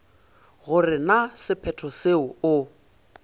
gore na sephetho seo o